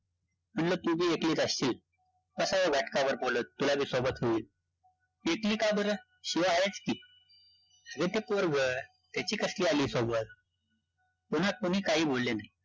म्हणलं तू बी एकलीचं असशील, बसावं घटकाभरं बोलतं, तुला बी सोबत होईल. एकली का बरं? शिवा आहेचं की, अरे ते पोरं गं, त्याची कसली आलीये सोबत, कुणास कोणी काही बोलले नाही